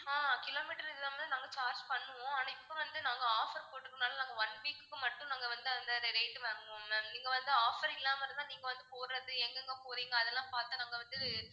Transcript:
ஆஹ் kilometre இல்லாம நாங்க charge பண்ணுவோம் ஆனா இப்போ வந்து நாங்க offer போட்டிருக்குறனால நாங்க one week க்கு மட்டும் நாங்க வந்து அந்த அந்த rate உ வாங்குவோம் ma'am நீங்க வந்து offer இல்லாம இருந்தா நீங்க வந்து போறது எங்க எங்க போறீங்க அதெல்லாம் பார்த்து தான் நாங்க வந்து